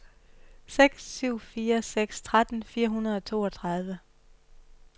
seks syv fire seks tretten fire hundrede og toogtredive